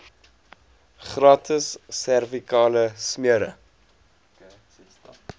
gratis servikale smere